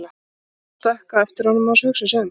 Thomas stökk á eftir honum án þess að hugsa sig um.